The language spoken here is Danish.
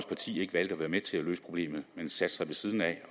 parti ikke valgte at være med til at løse problemet men satte sig ved siden af